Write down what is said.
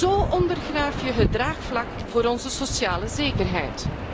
Zo ondergraaf je het draagvlak voor onze sociale zekerheid.